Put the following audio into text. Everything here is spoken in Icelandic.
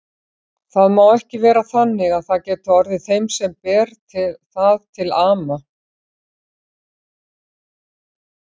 Það má ekki vera þannig að það geti orðið þeim sem ber það til ama.